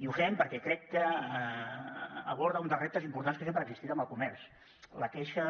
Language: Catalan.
i ho fem perquè crec que aborda un dels reptes importants que sempre ha existit en el comerç la queixa